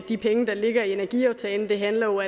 de penge der ligger i energiaftalen det handler